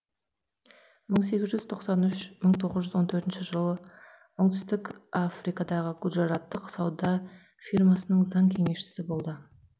мың сегіз жүз тоқсан үш мың тоғыз жүз он төртінші жылы оңтүстік африкадағы гуджараттық сауда фирмасының заң кеңесшісі болды